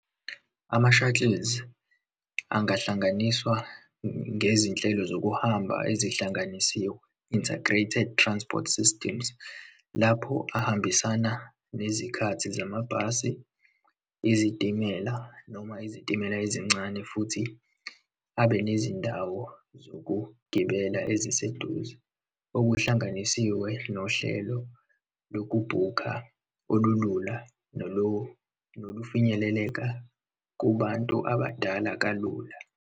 Ama-shuttles angahlanganiswa ngezinhlelo zokuhamba ezihlanganisiwe, Integrated Transport Systems, lapho ahambisana nezikhathi zamabhasi, izitimela, noma izitimela ezincane, futhi abe nezindawo zokugibela eziseduze, okuhlanganisiwe nohlelo lokubhukha olulula nolufinyeleleka kubantu abadala kalula.